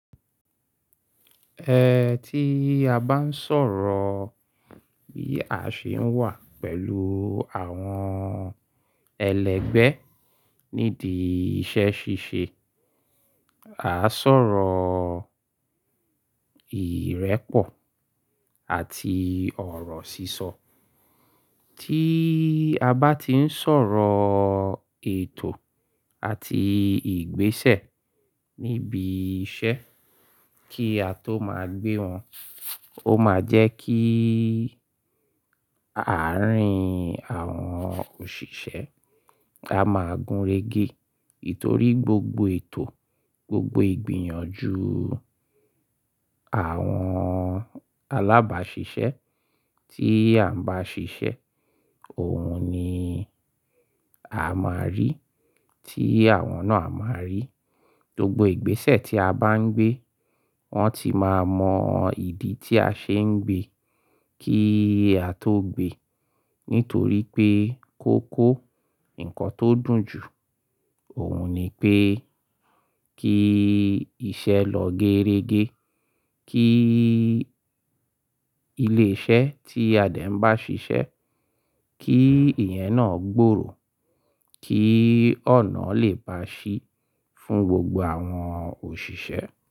Ẹ ti a bá ń sọ̀rọ̀ bí a ṣe ń wà pẹ̀lú àwọn ẹlẹgbẹ́ nídìí iṣẹ́ ṣíṣe, à sọ̀rọ̀ ìrẹ́pọ̀ àti ọ̀rọ̀ sísọ. Tí a bá ti ń sọ̀rọ̀ ètò àti ìgbésẹ̀ níbi iṣẹ́ kí a tó máa gbé wọn, ó máa jẹ́ kí àárín àwọn òṣìṣẹ́ a máa gúnrégé. Nitorí gbogbo ètò, gbogbo ìgbìyànjú àwọn alábàáṣiṣẹ́ tí a ń bá ṣiṣẹ́, òun ni a máa rí, tí àwọn náà a máa rí. Gbogbo ìgbésẹ̀ tí a bá ń gbé, wọ́n ti máa mọ ìdí tí a ṣe ń gbe kí a tó gbe. Nítorí pé kó kó nǹkan tó dùn jù, òun ni pé kí iṣẹ́ lọ géérégé, kí ilé-iṣẹ́ tí Adé ń bá ṣiṣẹ́, kí ìyẹn náà gbòòrò, kí ọ̀nà lè ba ṣí fún gbogbo àwọn òṣìṣẹ́.